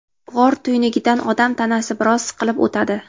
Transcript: G‘or tuynugidan odam tanasi biroz siqilib o‘tadi.